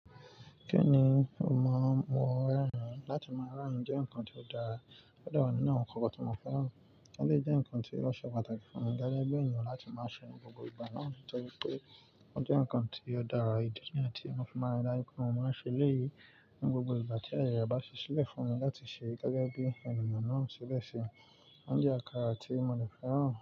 Kí ni o maa n mu rẹ rin? Látí máa rẹrín jẹ́ nǹkan tí ó dára. Ó dẹ wà nínú nǹkan kankan tó mó fẹ́ràn. Ó dè nǹkan tí ó ṣé pàtàkì fún mi gẹ́gẹ́ bí ènìyàn láti máa ṣe ní gbogbo ìgbà náà nítorí pé ó jẹ́ nǹkan tí ó dára ìdí nìyẹn tí mo fi máa rí dájú pé mo máa ṣe léyí ní gbogbo ìgbà tí ààyè rẹ bá sílẹ̀ fún mi láti ṣe gẹ́gẹ́ bí ènìyàn náà ṣi bẹ́ẹ̀ ṣi. Óunjẹ́ àkàrà tí mo ní fẹ́ràn.